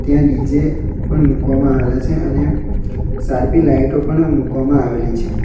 ત્યાં ડી_જે પણ મૂકવામાં આવેલા છે અને સારપી લાઇટો પણ મૂકવામાં આવેલી છે.